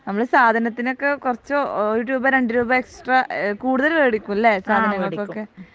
നമ്മൾ സാധനത്തിനൊക്കെ കുറച്ച് ഒരു രൂപ രണ്ട രൂപ എക്സ്ട്രാ എഹ് കൂടുതൽ വേടിക്കും ലെ സാധനം വേടിക്കും